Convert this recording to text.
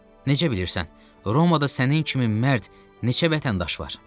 Necə bilirsən Romada sənin kimi mərd neçə vətəndaş var?